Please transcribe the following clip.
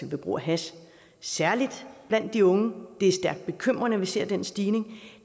ved brug af hash særlig blandt de unge det er stærkt bekymrende at vi ser den stigning og